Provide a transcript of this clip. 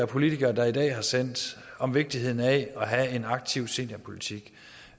politikere i dag har sendt om vigtigheden af at have en aktiv seniorpolitik